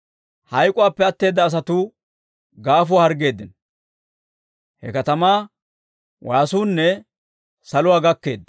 Hayk'k'uwaappe atteedda asatuu gaafuwaa harggeeddino; he katamaa waasuunne saluwaa gakkeedda.